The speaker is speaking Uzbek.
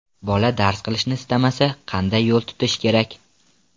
Bola dars qilishni istamasa, qanday yo‘l tutish kerak?.